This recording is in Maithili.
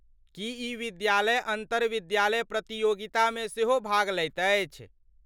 की ई विद्यालय अन्तरविद्यालय प्रतियोगितामे सेहो भाग लैत अछि।